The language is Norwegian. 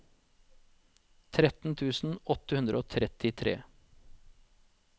tretten tusen åtte hundre og trettitre